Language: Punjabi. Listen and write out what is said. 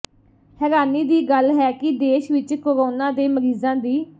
ਹੈਰਾਨੀ ਦੀ ਗੱਲ ਹੈ ਕਿ ਦੇਸ਼ ਵਿਚ ਕੋਰੋਨਾ ਦੇ ਮਰੀਜ਼ਾਂ ਦੀ